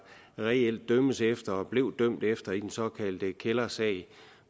reelt dømmes efter og blev dømt efter i den såkaldte kældersag